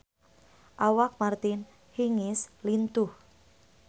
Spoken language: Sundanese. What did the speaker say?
Awak Martina Hingis lintuh